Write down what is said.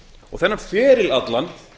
og þann feril allan